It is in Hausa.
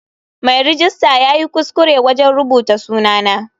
Mai rejista yayi kuskure wajen rubuta sunana.